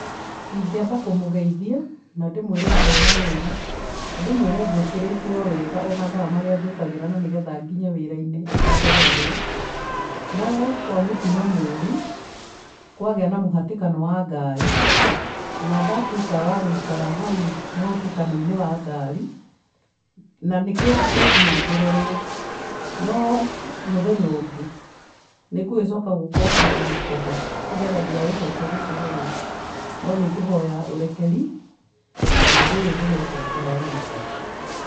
Ĩngiamba kũmugeithĩa na ndimwire ndirĩ na ũru na ndĩmwĩre ngukirĩte o wega o mathaa marĩa njukagĩra na nĩgetha ngĩnye wirainĩ itacereirwo, no kwa mũtino mũru kwagĩa na mũhatĩkano wa garĩ na ndatuĩka wa guikara hau mũhatĩkano-inĩ wa garĩ na nĩ kĩũ giatũma njererwo. No mũthenya ungĩ ningugicoka guũkokĩraga tene nigetha ndigagĩcoke gucererwo. No nĩ nguhũya urakeri na undũ ũyũ ndugecokera rĩngĩ.